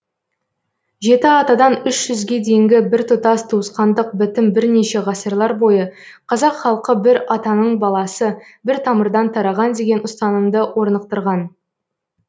жеті атадан үш жүзге дейінгі біртұтас туысқандық бітім бірнеше ғасырлар бойы қазақ халқы бір атаның баласы бір тамырдан тараған деген ұстанымды орнықтырған